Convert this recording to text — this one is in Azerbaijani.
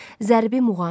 Zərbi muğam.